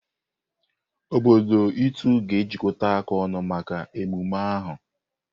Obodo Itu ga-ejikọta ọnụ maka emume ahụ.